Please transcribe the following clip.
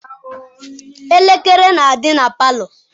Elekere na-adị na palọ..